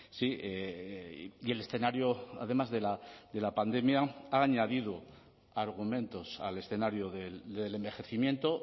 sí y el escenario además de la pandemia ha añadido argumentos al escenario del envejecimiento